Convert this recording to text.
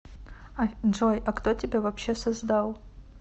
джой а кто тебя вообще создал